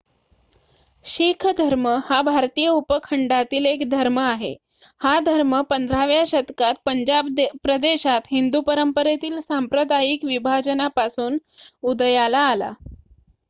शीख धर्म हा भारतीय उपखंडातील एक धर्म आहे हा धर्म 15 व्या शतकात पंजाब प्रदेशात हिंदू परंपरेतील सांप्रदायिक विभाजनापासून उदयाला आला